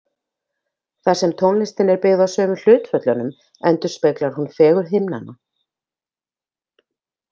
Þar sem tónlistin er byggð á sömu hlutföllunum endurspeglar hún fegurð himnanna.